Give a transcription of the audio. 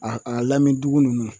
A a lami dugu ninnu